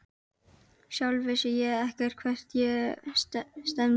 Sjálf vissi ég ekkert hvert ég stefndi.